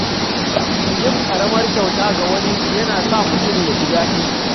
Yin ƙaramar kyauta ga wani yana sa mutum jin daɗi.